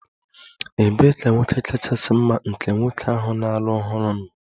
Ebee ka nwoke kachasị mma nke nwoke ahụ na-alụ ọhụrụ nọ?